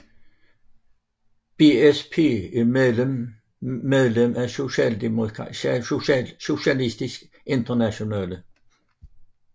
BSP er medlem af Socialistisk Internationale